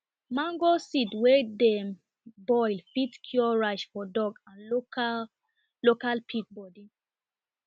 mango seed wey dem boil fit cure rash for dog and local local pig body